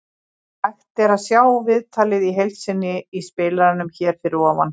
Hægt er að sjá viðtalið í heild sinni í spilaranum hér fyrir ofan.